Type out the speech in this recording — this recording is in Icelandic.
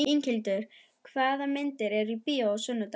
Inghildur, hvaða myndir eru í bíó á sunnudaginn?